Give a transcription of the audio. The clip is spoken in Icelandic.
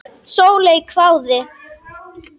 Sóley hváði.